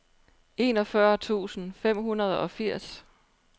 enogfyrre tusind fem hundrede og firs